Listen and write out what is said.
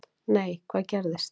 Nei, hvað gerðist?